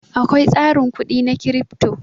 Akwai tsarin kudi na Crypto.